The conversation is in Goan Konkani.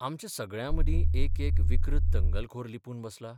आमचे सगळ्यां मदीं एक एक विकृत दंगलखोर लिपून बसला?